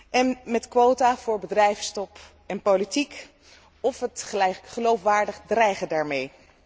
en met quota voor bedrijfstop en politiek of het geloofwaardig dreigen daarmee.